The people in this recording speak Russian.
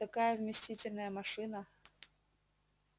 такая вместительная машина